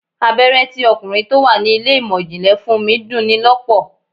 Abéré tí ọkùnrin tó wà ní ilé ìmò ìjìnlẹ̀ fún mi dun ni lọ́pọ̀.